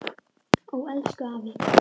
Ó elsku afi.